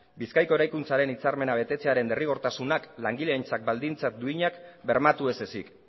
bizkaiko eraikuntzaren hitzarmena betetzearen derrigortasunak langileentzat baldintza duinak bermatu ez ezik